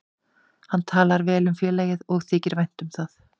Hann talar vel um félagið og þykir vænt um það.